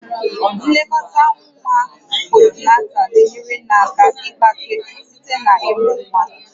Nlekọta nwa postnatal na-enyere nne aka ịgbake site na ịmụ nwa